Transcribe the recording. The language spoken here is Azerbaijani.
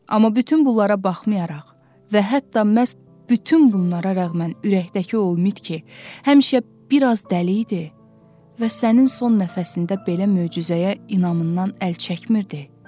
Amma bütün bunlara baxmayaraq və hətta məhz bütün bunlara rəğmən ürəkdəki o mit ki, həmişə bir az dəli idi və sənin son nəfəsində belə möcüzəyə inamından əl çəkmirdi.